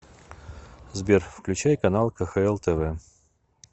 сбер включай канал кхл тв